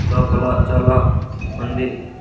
లోపల చాలా ఉంది